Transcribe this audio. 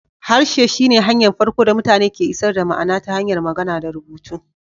Harshe shi ne hanyar farko da mutane ke isar da ma'ana ta hanyar magana da rubutu